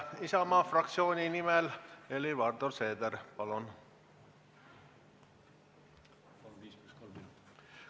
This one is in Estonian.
Isamaa fraktsiooni nimel Helir-Valdor Seeder, palun!